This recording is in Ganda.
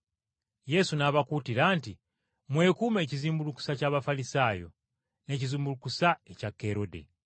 Yesu n’abakuutira nti, “Mwekuume ekizimbulukusa eky’Abafalisaayo n’ekizimbulukusa ekya Kerode.”